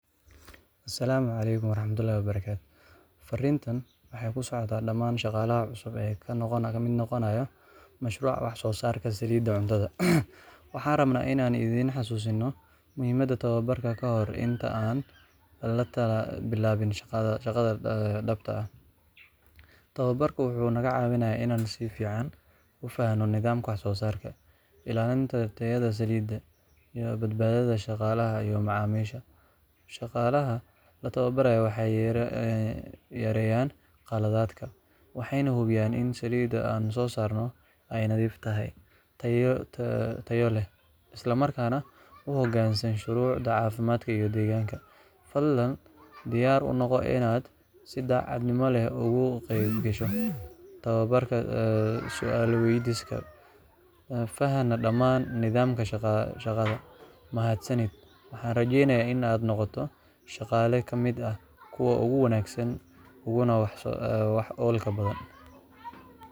Asalaamu Calaykum Waraxmatullaahi Wabarakaatuh. Fariintan waxa ay ku socotaa dhammaan shaqaalaha cusub ee ka mid noqonaya mashruuca wax-soo-saarka saliidda cuntada. Waxaan rabnaa inaan idin xasuusino muhiimadda tababarka kahor inta aan la bilaabin shaqada dhabta ah. Tababarku wuxuu naga caawinayaa inaan si fiican u fahamno nidaamka wax-soo-saarka, ilaalinta tayada saliidda, iyo badbaadada shaqaalaha iyo macaamiisha. Shaqaalaha la tababaray waxay yareeyaan khaladaadka, waxayna hubiyaan in saliidda aan soo saarno ay nadiif tahay, tayo leh, islamarkaana u hoggaansan shuruucda caafimaadka iyo deegaanka. Fadlan diyaar u noqo inaad si daacadnimo leh uga qaybgasho tababarka, su’aalo weydiiso, fahanna dhammaan nidaamka shaqada. Mahadsanid, waxaana rajaynayaa in aad noqoto shaqaale ka mid ah kuwa ugu wanaagsan uguna wax-ku-oolka badan